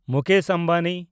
Mukesh Ambani